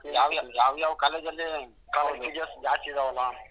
ಯಾವ್ ಯಾವ್ college ಜಾಸ್ತಿ ಇದ್ದಾವಲ್ಲಾ.